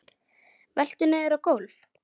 Veltur niður á gólf.